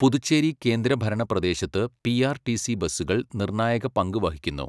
പുതുച്ചേരി കേന്ദ്രഭരണ പ്രദേശത്ത് പി.ആർ.ടി.സി ബസുകൾ നിർണായക പങ്ക് വഹിക്കുന്നു